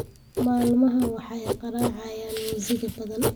Maalmahan waxay garacayan muusiga badan